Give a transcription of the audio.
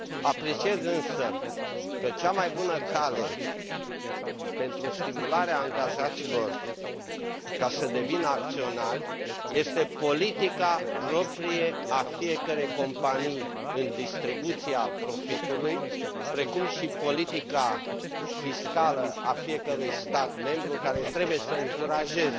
Apreciez, însă, că cea mai bună cale pentru stimularea angajaților ca să devină acționari este politica proprie a fiecărei companii în distribuția profitului, precum și politica fiscală a fiecărui stat membru, care trebuie să încurajeze